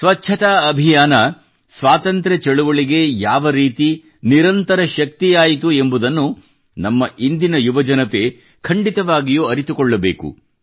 ಸ್ವಚ್ಛತಾ ಅಭಿಯಾನವು ಸ್ವಾತಂತ್ರ್ಯ ಚಳುವಳಿಗೆ ಯಾವರೀತಿ ನಿರಂತರ ಶಕ್ತಿಯಾಯಿತು ಎಂಬುದನ್ನು ನಮ್ಮ ಇಂದಿನ ಯುವಜನತೆ ಖಂಡಿತವಾಗಿಯೂ ಅರಿತುಕೊಳ್ಳಬೇಕು